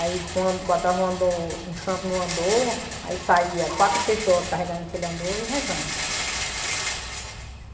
Aí uma botava uma do santo no andorro, aí saía quatro pessoas carregando aquele andorro e rezando.